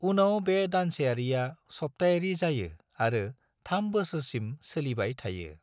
उनाव बे दानसेयारिया सप्तायारि जायो आरो थाम बोसोरसिम सोलिबाय थायो।